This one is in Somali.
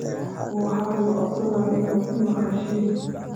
Waxan nikacodsanaya inad imagashin.